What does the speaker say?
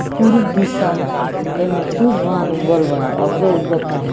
ई पुरुब दिशा ह एमें सुर्ज भगवान उगल बाड़े अबके ऊग तारे।